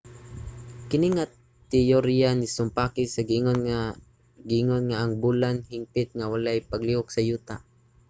kini nga teyorya nisumpaki sa giingon nga ang bulan hingpit nga walay paglihok sa yuta